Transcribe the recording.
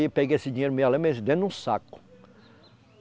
Peguei esse dinheiro, me lembro, saco.